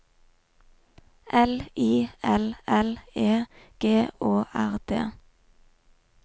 L I L L E G Å R D